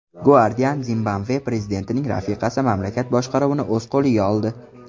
Guardian: Zimbabve prezidentining rafiqasi mamlakat boshqaruvini o‘z qo‘liga oldi.